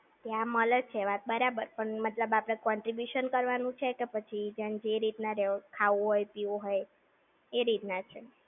ત્યાં મળે છે વાત બરાબર. પણ મતલબ આપણે contribution કરવાનું છે કે પછી જેન જે રીતના ખાવું હોય પીવું હોય એ રીતના છે?